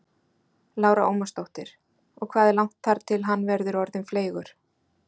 Lára Ómarsdóttir: Og hvað er langt þar til hann verður orðinn fleygur?